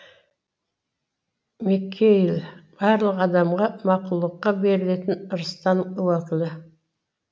мекайіл барлық адамға мақұлыққа берілетін ырыстан уәкілі